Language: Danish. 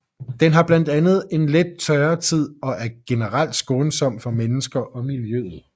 Den har blandt andet en let tørretid og er generelt skånsom for mennesker og miljøet